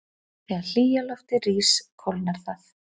Þegar hlýja loftið rís kólnar það.